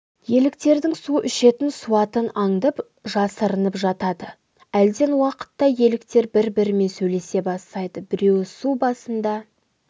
еліктердің су ішетін суатын аңдып жасырынып жатады әлден уақытта еліктер бір-бірімен сөйлесе бастайды біреуі су басында